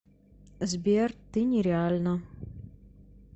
сбер ты нереальна